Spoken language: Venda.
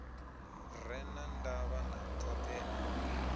re na ndavha na thoḓea